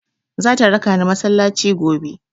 Zata raka ni masallaci gobe.